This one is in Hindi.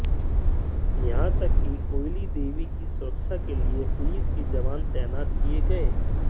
यहां तक कि कोयली देवी की सुरक्षा के लिए पुलिस के जवान तैनात किए गए